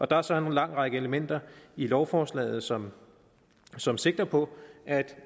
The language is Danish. der er så en lang række elementer i lovforslaget som som sigter på at